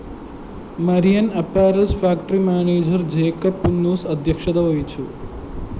Marian‍ apparels factory manager Jacob Punnoose അധ്യക്ഷത വഹിച്ചു